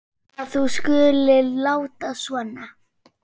að þú skulir láta svona.